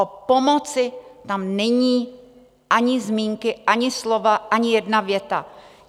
O pomoci tam není ani zmínky, ani slova, ani jedna věta.